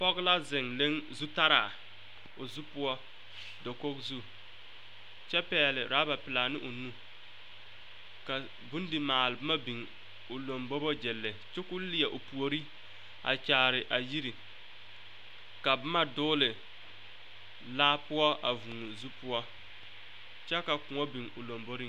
Pɔge la zeŋ le zutaraa o zu poɔ dakogi zu kyɛ pɛgle rɔba pɛlaa ne o nu kyɛ ka bondimaale boma biŋ o lombobo gyili kyɛ k'o leɛ o puori a kyaare a yiri ka boma dɔgle laa poɔ a vūū zu poɔ kyɛ ka kõɔ biŋ o lomboriŋ.